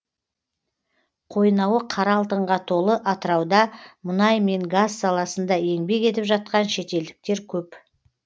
қойнауы қара алтынға толы атырауда мұнай мен газ саласында еңбек етіп жатқан шетелдіктер көп